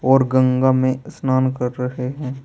और गंगा में स्नान कर रहे हैं।